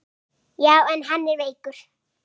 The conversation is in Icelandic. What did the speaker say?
Já, en hann er veikur